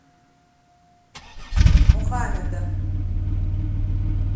мухамеда